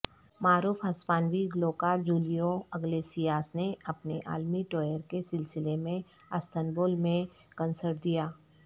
معروف ہسپانوی گلوکار جولیو اگلیسیاس نےاپنے عالمی ٹوئر کے سلسلے میں استنبول میں کانسرٹ دیا